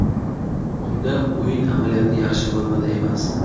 Unda o‘yin amaliyoti yaxshi formada emas.